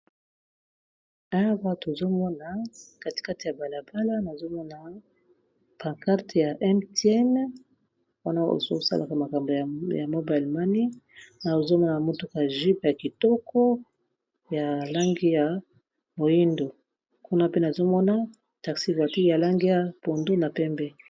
Awa tozomona katikate ya balabala nazomona pacarte ya m tin wana ozosalaka makambo ya mobi allemane na ozomona motuka jupe ya kitoko ya langi ya moindo kuna pe nazomona taxivatiq ya lange ya pondo na pembe.